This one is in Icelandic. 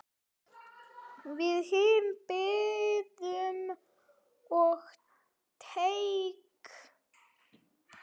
Við hinir biðum á teig.